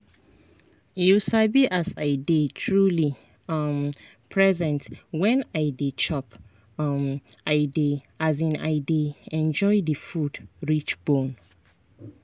you sabi as i dey truly um present when i dey chop um i dey um i dey enjoy the food reach bone.